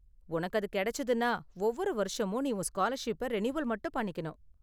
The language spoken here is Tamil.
உனக்கு அது கிடைச்சுதுன்னா, ஒவ்வொரு வருஷமும் நீ உன் ஸ்காலர்ஷிப்பை ரினியூவல் மட்டும் பண்ணிக்கணும்.